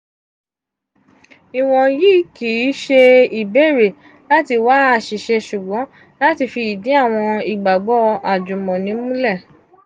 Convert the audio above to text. iwọnyi kii ṣe ibeere lati wa aṣiṣe ṣugbọn lati fi idi awọn igbagbọ ajumoni mulẹ.